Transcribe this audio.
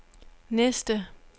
næste